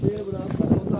Gəl bura, gəl bura.